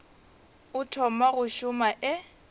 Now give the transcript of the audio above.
o thoma go šoma e